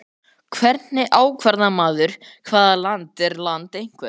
Hvernig ákvarðar maður hvaða land er land einhvers?